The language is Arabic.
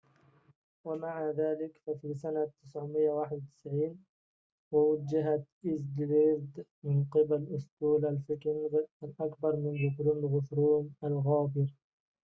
ومع ذلك ففي سنة 991 وُوجهت إيذلريد من قبل أسطول الفايكينغ الأكبر منذ قرن الغوثروم الغابر